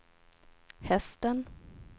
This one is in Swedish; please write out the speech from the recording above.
hästen